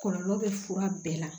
Kɔlɔlɔ bɛ fura bɛɛ la